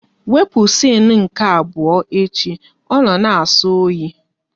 Wepụ siene nke abụọ echi, ọ na na-asọ oyi!